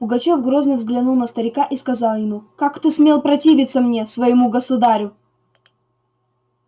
пугачёв грозно взглянул на старика и сказал ему как ты смел противиться мне своему государю